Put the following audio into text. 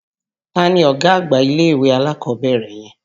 Ta ni ọ̀gá àgbà ilé-ìwé alákọ̀ọ́bẹ̀rẹ̀ yẹn?